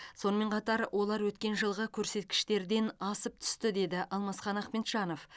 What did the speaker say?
сонымен қатар олар өткен жылғы көрсеткіштерден асып түсті деді алмасхан ахмеджанов